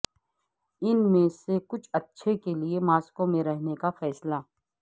ان میں سے کچھ اچھے کے لیے ماسکو میں رہنے کا فیصلہ